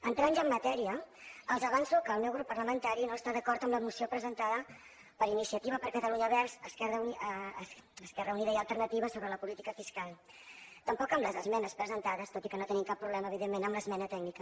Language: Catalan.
entrant ja en matèria els avanço que el meu grup parlamentari no està d’acord amb la moció presentada per iniciativa per catalunya verds esquerra unida i alternativa sobre la política fiscal tampoc amb les esmenes presentades tot i que no tenim cap problema evidentment amb l’esmena tècnica